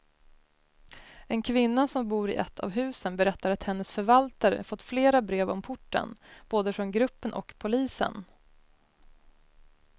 En kvinna som bor i ett av husen berättar att hennes förvaltare fått flera brev om porten, både från gruppen och polisen.